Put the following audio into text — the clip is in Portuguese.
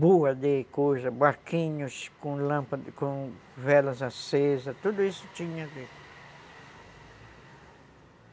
boa de coisa, barquinhos com lâmpada, com velas acesas, tudo isso tinha ali.